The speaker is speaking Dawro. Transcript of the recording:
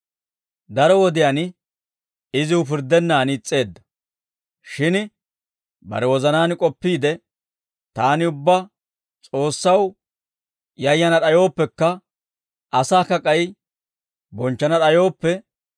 «Daro wodiyaan iziw pirddennaan is's'eedda. Shin bare wozanaan k'oppiide, ‹Taani, ubbaa S'oossaw yayana d'ayooppekka, asaakka k'ay bonchchana d'ayooppe,